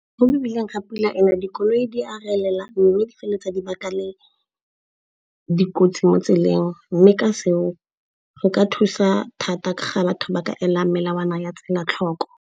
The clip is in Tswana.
Mo mebileng ga pula e na dikoloi di a relela mme di feleletsa dibaka le dikotsi mo tseleng. Mme ka seo go ka thusa thata ka ga batho ba ka ela melawana ya tsela tlhoko.